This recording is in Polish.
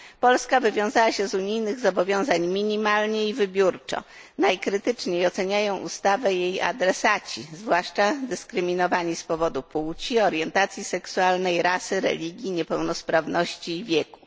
Polska wywiązała się z unijnych zobowiązań minimalnie i wybiórczo. Najkrytyczniej oceniają ustawę jej adresaci, zwłaszcza dyskryminowanie z powodu płci, orientacji seksualnej, rasy, religii, niepełnosprawności i wieku.